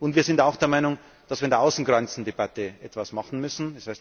Wir sind auch der Meinung, dass wir bei der Außengrenzendebatte etwas machen